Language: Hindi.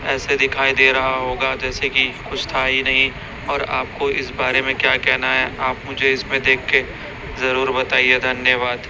ऐसे दिखाई दे रहा होगा जैसे कि कुछ था ही नहीं और आपको इस बारे में क्या कहना है आप मुझे इसमें देख के जरूर बताइए धन्यवाद।